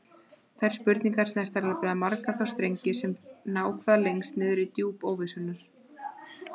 Þær spurningar snerta nefnilega marga þá strengi sem ná hvað lengst niður í djúp óvissunnar.